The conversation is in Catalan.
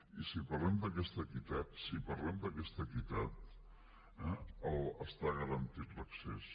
i si parlem d’aquesta equitat si parlem d’aquesta equitat eh està garantit l’accés